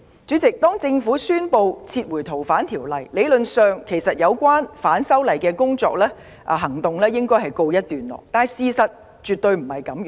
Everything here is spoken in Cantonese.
主席，政府宣布撤回《條例草案》後，有關反修例的行動理應告一段落，事實卻絕非如此。